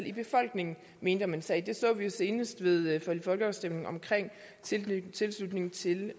i befolkningen mente om en sag det så vi jo senest ved folkeafstemningen om tilslutning til